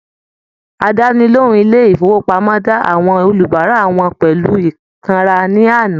Àdánilohùn ilé ifowopamọ da àwọn olubara wọn pẹlu ikanra ní àná.